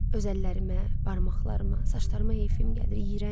Öz əllərimə, barmaqlarıma, saçlarıma heyfim gəlir.